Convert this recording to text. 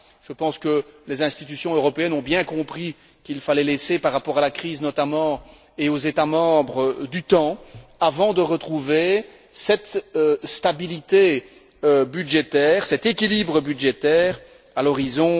Je pense que les institutions européennes ont bien compris qu'il fallait laisser, par rapport à la crise notamment et aux États membres, du temps avant de retrouver cette stabilité budgétaire, cet équilibre budgétaire à l'horizon